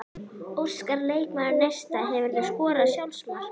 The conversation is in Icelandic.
Óskar leikmaður Neista Hefurðu skorað sjálfsmark?